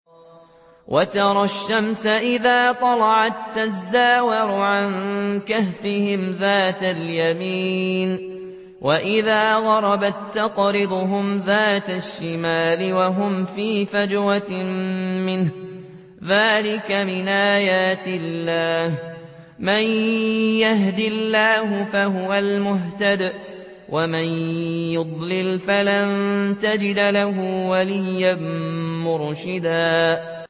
۞ وَتَرَى الشَّمْسَ إِذَا طَلَعَت تَّزَاوَرُ عَن كَهْفِهِمْ ذَاتَ الْيَمِينِ وَإِذَا غَرَبَت تَّقْرِضُهُمْ ذَاتَ الشِّمَالِ وَهُمْ فِي فَجْوَةٍ مِّنْهُ ۚ ذَٰلِكَ مِنْ آيَاتِ اللَّهِ ۗ مَن يَهْدِ اللَّهُ فَهُوَ الْمُهْتَدِ ۖ وَمَن يُضْلِلْ فَلَن تَجِدَ لَهُ وَلِيًّا مُّرْشِدًا